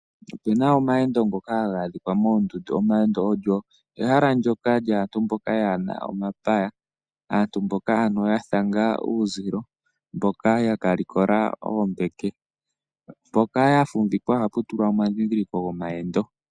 Opena omaendo ngoka haga adhika moondundu ,omaendo olyo ehala lyaantu mboka yaana omapaya aantu mboka ya thanga uuzilo mboka ya ka likola omapaya mboka ya lokola oombeke mpoka ya fumvikwa oha pu tulwa edhidhiliko lyomaendo.